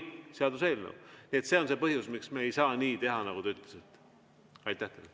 See on see põhjus, miks me ei saa nii teha, nagu te ütlesite.